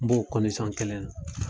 N b'o kɔndisɔn kelen na